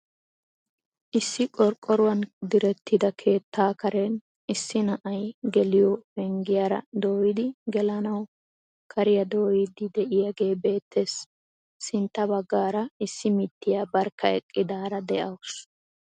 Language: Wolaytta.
Issi qorqoruwaan direttida keettaa karen issi na'ay geliyoo penggiyaara doyidi gelanawu kariyaa dooyidi de'iyaagee beettees. sintta baggaara issi mittiyaa barkka eqqidaara de'awus.